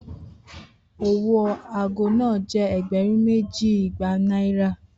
Owo aago naa jẹ ẹgbẹrun meji igba Naira